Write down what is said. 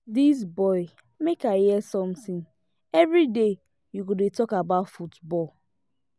dis boy make i hear something everyday you go dey talk about football